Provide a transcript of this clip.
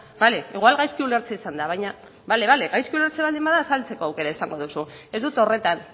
bale igual gaizki ulertzea izan da baina bale bale gaizki ulertzea baldin bada azaltzeko aukera izango duzu ez dut horretan